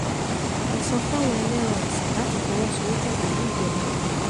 ẹ sọ fáwọn ẹlẹ́ran ọ̀sìn láti fọwọ́sowọ́pọ̀ pẹ̀lú ìjọba ìpínlẹ̀